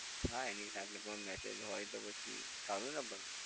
હા એની સામે પણ message હોય તો પછી સારું ને પણ?